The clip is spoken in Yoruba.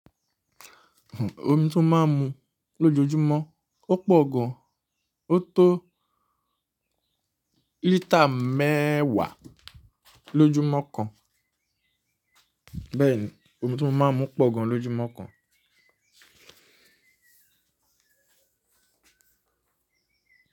Omi tí mo máa ń mu lójoojúmọ́, ó pọ̀ gan, ó tó lítà mẹ́wàá lójúmọ́ kan. Bẹ́ẹ̀ni omi tí mo máa ń mu pọ̀ gan lójúmọ́ kan.